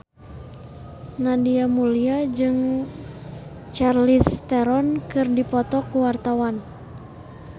Nadia Mulya jeung Charlize Theron keur dipoto ku wartawan